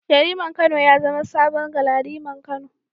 Yariman Kano ya zama saman Galadiman Kano.